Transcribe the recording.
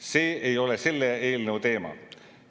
See ei ole selle eelnõu teema.